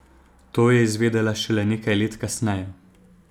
To je izvedela šele nekaj let kasneje.